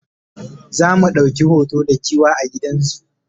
zamu ɗauki hoto da giwa a gidan zoo